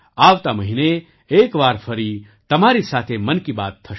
આવતા મહિને એક વાર ફરી તમારી સાથે મન કી બાત થશે